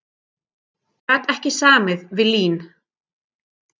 Gat ekki samið við LÍN